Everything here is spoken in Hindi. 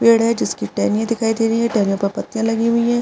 पेड़ है जिसकी टहनियां दिखाई दे रही है टहनियों पे पत्तिया लगी हुई है।